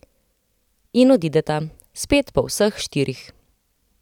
In odideta, spet po vseh štirih.